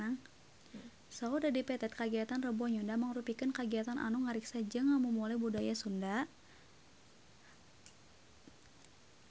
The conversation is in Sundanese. Saur Dedi Petet kagiatan Rebo Nyunda mangrupikeun kagiatan anu ngariksa jeung ngamumule budaya Sunda